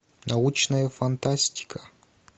научная фантастика